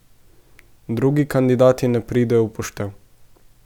Drugi kandidati ne pridejo v poštev.